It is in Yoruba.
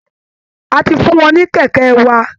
A ti fún wọn ní kẹ̀kẹ́ wa